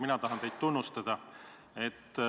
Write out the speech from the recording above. Mina tahan teid tunnustada.